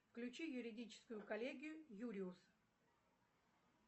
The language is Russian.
включи юридическую коллегию юриус